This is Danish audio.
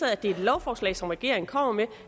at det er et lovforslag som regeringen kommer med